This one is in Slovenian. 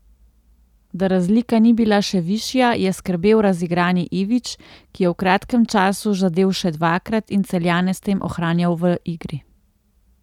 Da razlika ni bila še višja je skrbel razigrani Ivić, ki je v kratkem času zadel še dvakrat in Celjane s tem ohranjal v igri.